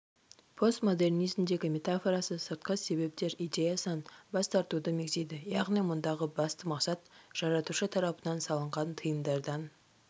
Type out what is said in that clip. постмодернизмдегі метафорасы сыртқы себептер идеясынан бас тартуды мегзейді яғни мұндағы басты мақсат жаратушы тарапынан салынған тыйымдардан